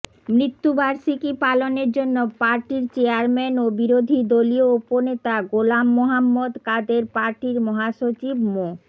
মৃত্যুবার্ষিকী পালনের জন্য পার্টির চেয়ারম্যান ও বিরোধী দলীয় উপনেতা গোলাম মোহাম্মদ কাদের পার্টির মহাসচিব মো